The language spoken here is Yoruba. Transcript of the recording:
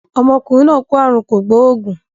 Ọmọkùnrin náà kó àrùn kò gbóògùn.